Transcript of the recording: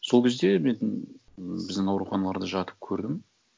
сол кезде мен біздің ауруханаларда жатып көрдім